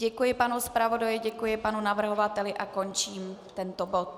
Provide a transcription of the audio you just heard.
Děkuji panu zpravodaji, děkuji panu navrhovateli a končím tento bod.